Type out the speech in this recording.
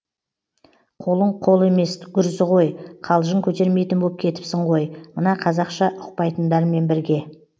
қолың қол емес гүрзі ғой қалжың көтермейтін боп кетіпсің ғой мына қазақша ұқпайтындармен бірге